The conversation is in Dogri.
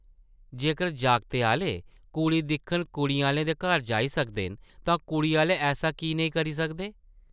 जेकर जागतै आह्ले कुड़ी दिक्खन कुड़ी आह्लें दे घर जाई सकदे न, तां कुड़ी आह्ले ऐसा की नेईं करी सकदे ?